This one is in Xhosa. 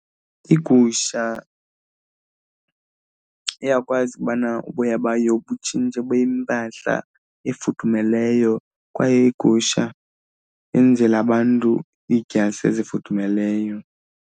Igusha iyakwazi ukubana uboya bayo butshintshe bube yimpahla efudumeleyo kwaye igusha yenzela abantu iidyasi ezifudumeleyo.